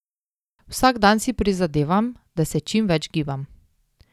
Vsak dan si prizadevam, da se čim več gibam.